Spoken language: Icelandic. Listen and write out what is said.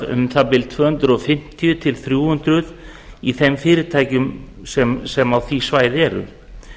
um tvö hundruð fimmtíu til þrjú hundruð störf í þeim fyrirtækjum sem á því svæði eru